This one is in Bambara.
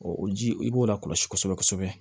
o ji i b'o lakɔlɔsi kosɛbɛ kosɛbɛ